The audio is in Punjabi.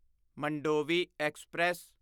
ਮੰਡੋਵੀ ਐਕਸਪ੍ਰੈਸ